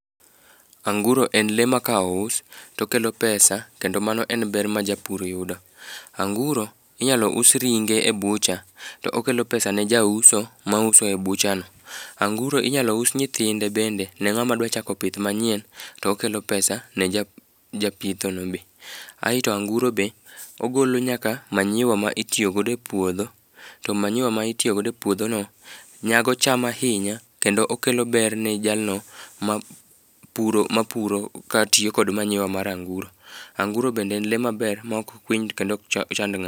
Anguro en le ma ka ous, to okelo pesa, kendo mano en ber ma japur yudo. Anguro, inyalo us ringe e butcher, to okelo pesa ne ja uso, ma uso e butcherno. Anguro inyalo us nyithinde bende, ne ngát ma dwa chako pith manyien. To okelo pesa ne japitho no be. Aeto anguro be, ogolo nyaka manyiwa ma itiyo godo e puodho. To manyiwa ma itiyogo e puodho no, nyago cham ahinya, kendo okelo ber ne jalno mapuro mapuro katiyo kod manyiwa mar anguro. Anguro bende en le maber, ma ok kwiny, kendo ok chand ngáto.